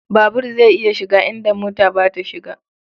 Babur zai iya shiga inda mota ba ta shiga.